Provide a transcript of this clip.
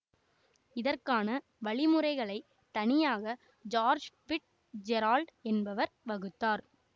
இதற்கான வழிமுறைகளைத் தனியாக ஜார்ஜ் பிட் ஜெரால்டு என்பவர் வகுத்தார்